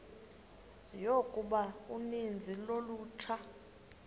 yokuba uninzi lolutsha